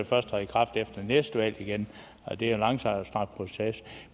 først træde i kraft efter næste valg igen og det er en langstrakt proces